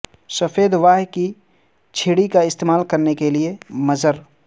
سفید واہ کی چھڑی کا استعمال کرنے کے لئے مضر